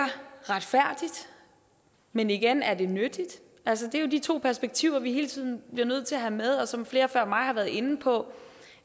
retfærdigt men igen er det nyttigt altså det er jo de to perspektiver vi hele tiden bliver nødt til at have med og som flere før mig har været inde på